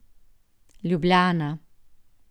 Ljubljana.